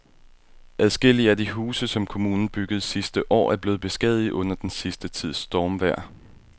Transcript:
Adskillige af de huse, som kommunen byggede sidste år, er blevet beskadiget under den sidste tids stormvejr.